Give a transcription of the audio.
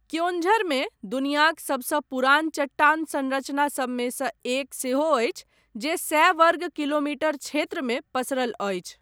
क्योञ्झरमे दुनियाक सबसँ पुरान चट्टान संरचना सबमे सँ एक सेहो अछि जे सए वर्ग किलोमीटर क्षेत्रमे पसरल अछि।